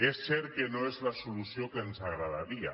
és cert que no és la solució que ens agradaria